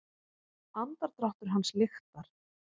Andardráttur hans lyktar.